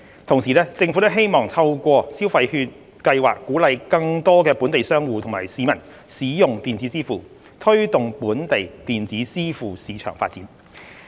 同時，政府亦希望透過消費券計劃鼓勵更多本地商戶及市民使用電子支付，推動本地電子支付市場發展。